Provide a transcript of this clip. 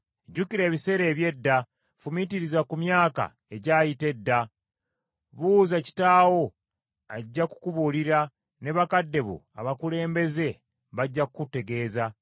Jjukira ebiseera eby’edda, fumiitiriza ku myaka egyayita edda. Buuza kitaawo ajja kukubuulira ne bakadde bo abakulembeze bajja kukutegeeza.